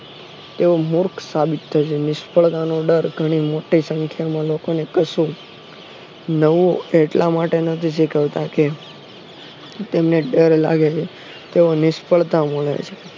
એવો મુર્ખ સાબિત થશે નિષ્ફળતાનો ડર ઘણી મોટી સંખ્યામાં લોકોને કશુક નવું એટલા માટે નથી કરતા કે તેમણે ડર લાગે છે તો નિષ્ફળતા મળે છે